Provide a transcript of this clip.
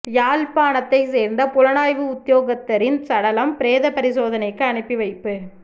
யாழ்ப்பாணத்தைச் சேர்ந்த புலனாய்வு உத்தியோகத்தரின் சடலம் பிரேத பரிசோதனைக்கு அனுப்பி வைப்பு